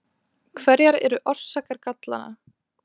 Hverjar eru orsakar gallanna?